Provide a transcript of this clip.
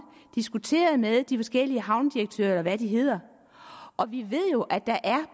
diskuteret med de forskellige havnedirektører eller hvad de hedder og vi ved jo at der